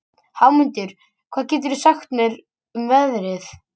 Hámundur, hvað geturðu sagt mér um veðrið?